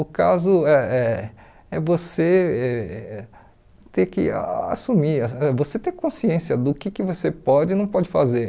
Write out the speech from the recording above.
O caso eh eh é você ter que assumir, ãh você ter consciência do que que você pode e não pode fazer.